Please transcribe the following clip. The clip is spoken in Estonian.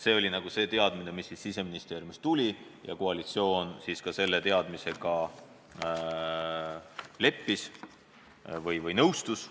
See oli signaal, mis Siseministeeriumist tuli, ja koalitsioon sellega leppis või nõustus.